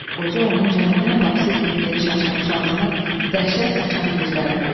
Qoca onun cəhənnəm qapısı kimi geniş açılmış ağzını, dəhşət saçan gözlərini gördü.